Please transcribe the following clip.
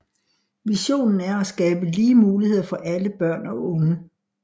Visionen er at skabe lige muligheder for alle børn og unge